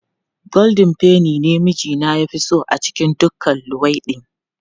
Goldin feni ne mijina ya fi so a cikin duka luwaiɗi.